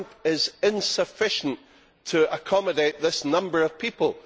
The camp is insufficient to accommodate this number of people.